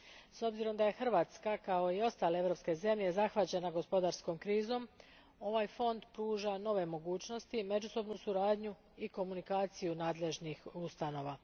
S obzirom da je Hrvatska kao i ostale europske zemlje zahvaćena gospodarskom krizom, ovaj fond pruža nove mogućnosti, međusobnu suradnju i komunikaciju nadležnih ustanova.